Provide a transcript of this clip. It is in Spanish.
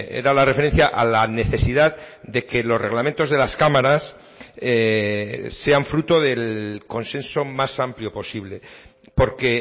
era la referencia a la necesidad de que los reglamentos de las cámaras sean fruto del consenso más amplio posible porque